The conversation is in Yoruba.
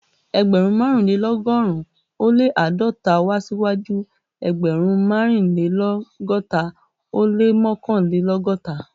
Ẹgbẹ̀rún mẹ́rìnlélọ́gọ́rùn-ún ó lé àádọ́ta wá síwájú ẹgbẹ̀rún mẹ́rìnlélọ́gọ́ta ó lé mọ́kànlélọ́gọ́ta